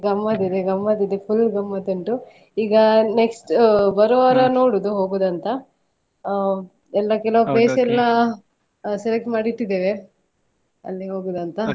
ಗಮ್ಮತಿದೆ ಗಮ್ಮತಿದೆ full ಗಮ್ಮತುಂಟು ಈಗ next ಬರುವ ವಾರ ನೋಡುದು ಹೋಗುದಂತ ಆ ಎಲ್ಲಾ ಕೆಲವು place ಎಲ್ಲಾ select ಮಾಡಿಟ್ಟಿದ್ದೇವೆ ಅಲ್ಲಿ ಹೋಗುದಂತ